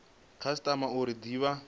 khasitama uri i de vha